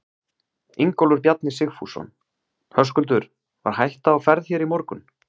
Ingólfur Bjarni Sigfússon: Höskuldur, var hætta á ferð hér í morgun?